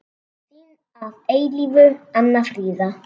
Þín að eilífu, Anna Fríða.